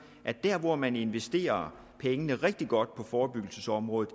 at der hvor man investerer pengene rigtig godt på forebyggelsesområdet